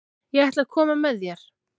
Ég ætla að koma með þér!